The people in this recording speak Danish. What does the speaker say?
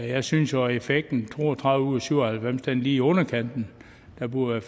jeg synes jo at effekten med to og tredive ud af syv og halvfems er lige i underkanten der burde